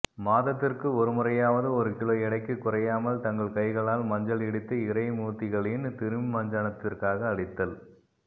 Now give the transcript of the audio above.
மாதத்திற்கு ஒரு முறையாவது ஒரு கிலோ எடைக்குக் குறையாமல் தங்கள் கைகளால் மஞ்சள் இடித்து இறை மூர்த்திகளின் திருமஞ்சனத்திற்காக அளித்தல்